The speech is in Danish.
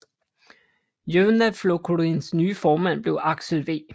Javnaðarflokkurins nye formand blev Aksel V